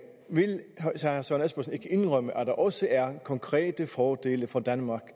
indrømme at der også er konkrete fordele for danmark